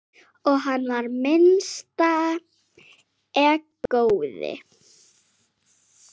Og hann var minnsta egóið.